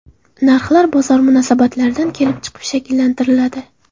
Narxlar bozor munosabatlaridan kelib chiqib shakllantiriladi.